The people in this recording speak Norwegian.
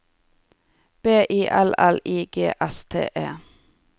B I L L I G S T E